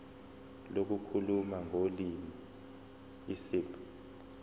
lokukhuluma ngolimi isib